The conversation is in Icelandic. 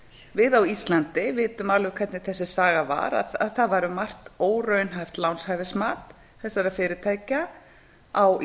við á íslandi vitum alveg hvernig þessi saga var að það var um margt óraunhæft lánshæfismat þessara fyrirtækja á